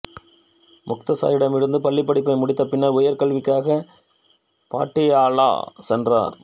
முக்த்சரிடமிருந்து பள்ளிப் படிப்பை முடித்த பின்னர் உயர்கல்விக்காக பாட்டியாலா சென்றார்